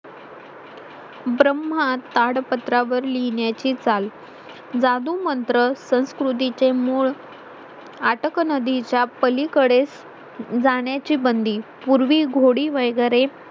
ब्रम्हा ताडपत्रावर लिहिण्याची चाल जादू मंत्र संस्कृती चे मूळ आटक नदीच्या पलीकडेच जाण्याची बंदी पूर्वी घोडी वगैरे